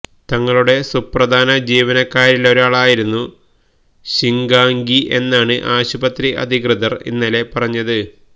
തങ്ങളുടെ സുപ്രധാന ജീവനക്കാരിലൊരാളായിരുന്നു ശിഗാംഗി എന്നാണ് ആശുപത്രി അധികൃതർ ഇന്നലെ പറഞ്ഞത്